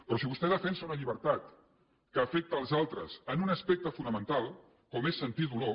però si vostè defensa una llibertat que afecta els altres en un aspecte fonamental com és sentir dolor